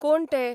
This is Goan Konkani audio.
कोण ते?